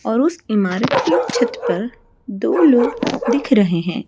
और उस इमारत की छत पर दो लोग दिख रहे हैं।